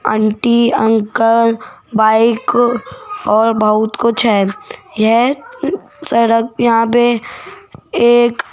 aunty uncle bike और बहुत कुछ है यह सड़क यहाँ पे एक --